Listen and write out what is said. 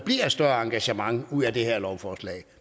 større engagement ud af det her lovforslag